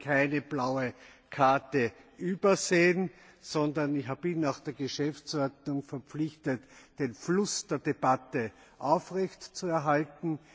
Ich habe keine blaue Karte übersehen, sondern ich bin nach der Geschäftsordnung verpflichtet, den Fluss der Debatte aufrechtzuerhalten.